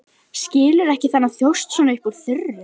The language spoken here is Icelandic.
Skilur ekki þennan þjóst svona upp úr þurru.